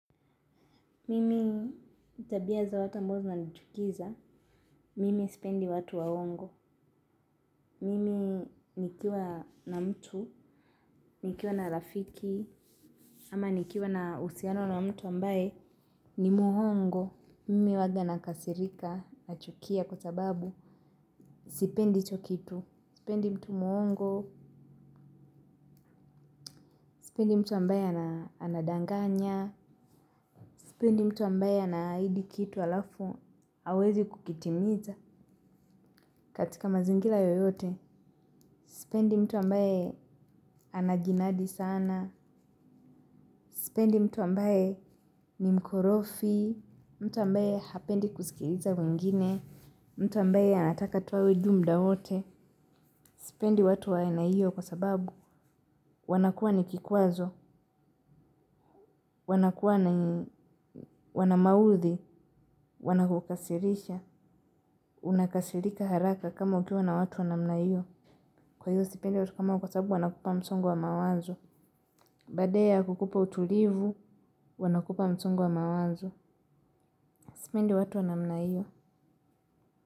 Mimi tabia za watu ambazo zinanchukiza. Mimi sipendi watu wa hongo. Mimi nikiwa na mtu. Nikiwa na rafiki. Ama nikiwa na usiano na mtu ambaye ni muhongo. Mimi waga nakasirika nachukia kwa sababu. Sipendi icho kitu. Sipendi mtu mwongo. Sipendi mtu ambaye anadanganya. Sipendi mtu ambaye anaahidi kitu alafu awezi kukitimiza katika mazingira yoyote. Sipendi mtu ambaye anajinadi sana. Sipendi mtu ambaye nimkorofi. Mtu ambaye hapendi kusikiliza wengine. Mtu ambaye anataka tuwa weju mda wote. Sipendi watu waena hiyo kwa sababu wanakuwa ni kikwazo. Wanakuwa ni wanamawuthi. Wanakukasirisha. Unakasirika haraka kama ukiwa na watu wa namna hiyo. Kwa hiyo sipendi watu kama ao kwa saabu wanakupa msongwa mawazo. Bade ya kukupa utulivu, wanakupa msongo wa mawanzo. Simaindi watu wa namna iyo.